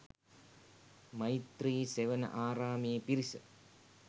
මෛත්‍රී සෙවණ ආරාමයේ පිරිස